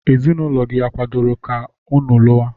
Ezinụlọ unu akwadoro ka unu luwa?